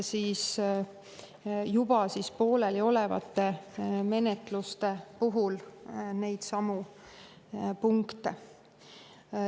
Juba pooleliolevate menetluste puhul täpsustatakse neidsamu punkte.